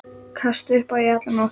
Kastaði upp í alla nótt.